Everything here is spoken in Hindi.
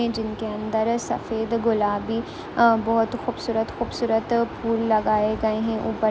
जिनके अंदर सफेद गुलाबी बहुत खूबसूरत खूबसूरत फूल लगाए गए हैं।